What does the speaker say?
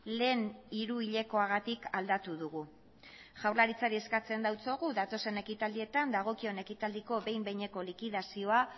lehen hiruhilekoagatik aldatu dugu jaurlaritzari eskatzen diogu datozen ekitaldietan dagokion ekitaldiko behin behineko likidazioa